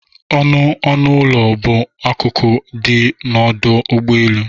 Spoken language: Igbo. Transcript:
Ọnụ ọnụ ụlọ bụ akụkụ dị n'ọdụ ụgbọ elu